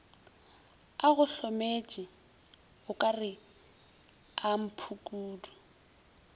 a gohlometše o ka rekeamphukudu